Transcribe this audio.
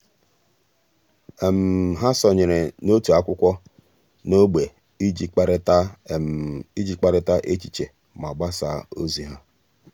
há sònyèrè n’òtù ákwụ́kwọ́ n’ógbè iji kparịta iji kparịta echiche ma gbasáá ózị́ há.